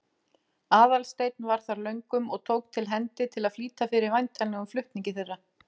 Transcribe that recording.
Aðalsteinn var þar löngum og tók til hendi til að flýta fyrir væntanlegum flutningi þeirra.